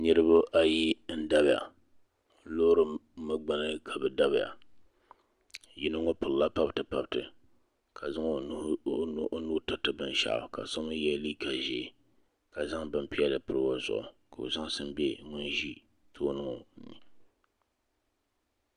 Niriba ayi n dabiya loori mi gbuni ka bi dabiya yino ŋɔ piri la pabiti pabiti ka zaŋ o nuu tiri ti binshaɣu ka so mi yɛ liiga ʒee ka zaŋ bin piɛlli pɔbi o zuɣu ka o zaŋsim bɛ ŋun ʒi tooni ŋɔ.